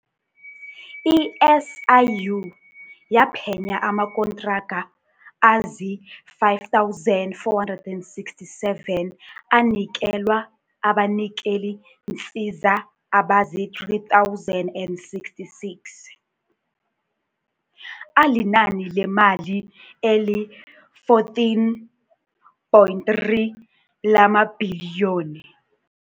I-SIU yaphenya amakontraka azii-5467 anikelwa abanikeliinsiza abazii-3066, alinani lemali eli-14.3 lamabhiliyoni.